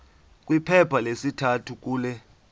kwiphepha lesithathu kule